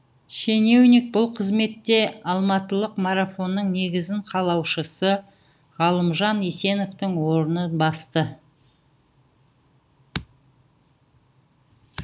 шенеунік бұл қызметте алматылық марафонның негізін қалаушысы ғалымжан есеновтың орнын басты